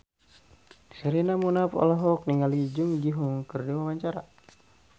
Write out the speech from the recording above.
Sherina Munaf olohok ningali Jung Ji Hoon keur diwawancara